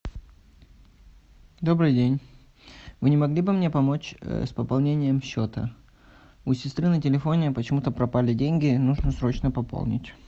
добрый день вы не могли бы мне помочь с пополнением счета у сестры на телефоне почему то пропали деньги нужно срочно пополнить